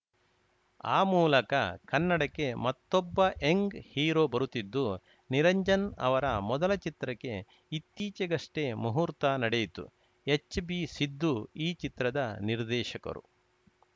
ಆ ಮೂಲಕ ಕನ್ನಡಕ್ಕೆ ಮತ್ತೊಬ್ಬ ಯಂಗ್‌ ಹೀರೋ ಬರುತ್ತಿದ್ದು ನಿರಂಜನ್‌ ಅವರ ಮೊದಲ ಚಿತ್ರಕ್ಕೆ ಇತ್ತೀಚೆಗಷ್ಟೆಮುಹೂರ್ತ ನಡೆಯಿತು ಹೆಚ್‌ ಬಿ ಸಿದ್ದು ಈ ಚಿತ್ರದ ನಿರ್ದೇಶಕರು